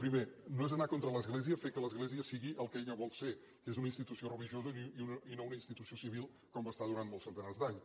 primer no és anar contra l’església fer que l’església sigui el que ella vol ser que és una institució religiosa i no una institució civil com va ser durant molts centenars d’anys